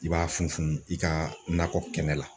I b'a funu i ka nakɔ kɛnɛ la.